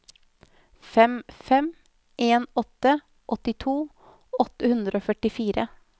fem fem en åtte åttito åtte hundre og førtifire